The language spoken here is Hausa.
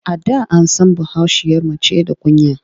A da an san bahaushiyar mace da kunya.